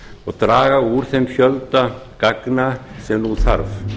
og draga á þeim fjölda gagna sem nú þarf